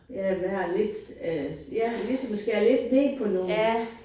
Ja være lidt øh ja ligesom at skære lidt ned på nogen